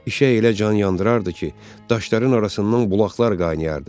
İşə elə can yandırardı ki, daşların arasından bulaqlar qaynayardı.